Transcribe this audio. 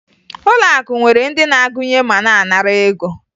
Ụlọakụ nwere ndị na-agụnye ma na-anara ego